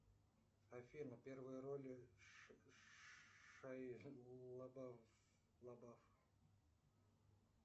афина первые роли шайа лабаф